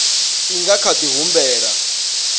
i nga kha di humbela